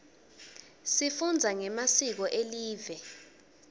sifunza ngemasiko elive